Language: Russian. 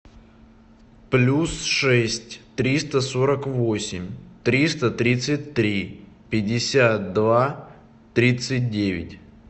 плюс шесть триста сорок восемь триста тридцать три пятьдесят два тридцать девять